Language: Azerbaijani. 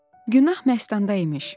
Günah Məstanda imiş.